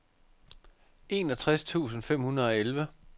enogtres tusind fem hundrede og elleve